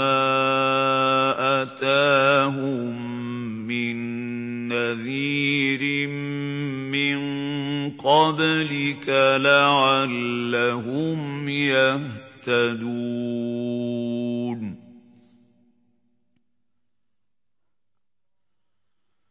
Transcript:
مَّا أَتَاهُم مِّن نَّذِيرٍ مِّن قَبْلِكَ لَعَلَّهُمْ يَهْتَدُونَ